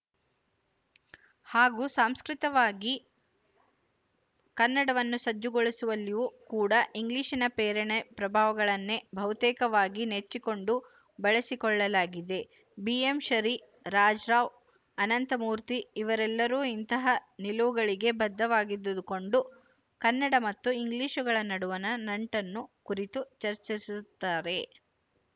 ಹಾಗೂ ಸಾಂಸ್ಕೃತವಾಗಿ ಕನ್ನಡವನ್ನು ಸಜ್ಜುಗೊಳಿಸುವಲ್ಲಿಯೂ ಕೂಡ ಇಂಗ್ಲಿಶಿನ ಪ್ರೇರಣೆ ಪ್ರಭಾವಗಳನ್ನೇ ಬಹುತೇಕವಾಗಿ ನೆಚ್ಚಿಕೊಂಡು ಬಳಸಿಕೊಳ್ಳಲಾಗಿದೆ ಬಿಎಂಶರೀ ರಾಜರಾವ್ ಅನಂತಮೂರ್ತಿ ಇವರೆಲ್ಲರೂ ಇಂತಹ ನಿಲುವುಗಳಿಗೆ ಬದ್ಧವಾಗಿದ್ದುಕೊಂಡು ಕನ್ನಡ ಮತ್ತು ಇಂಗ್ಲಿಶುಗಳ ನಡುವಣ ನಂಟನ್ನು ಕುರಿತು ಚರ್ಚಿಸಿರುತ್ತಾರೆ